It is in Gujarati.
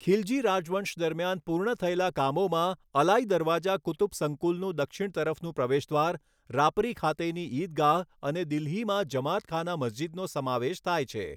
ખિલજી રાજવંશ દરમિયાન પૂર્ણ થયેલા કામોમાં અલાઈ દરવાજા કુતુબ સંકુલનું દક્ષિણ તરફનું પ્રવેશદ્વાર, રાપરી ખાતેની ઈદગાહ અને દિલ્હીમાં જમાત ખાના મસ્જિદનો સમાવેશ થાય છે.